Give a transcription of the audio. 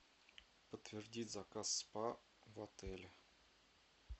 подтвердить заказ спа в отеле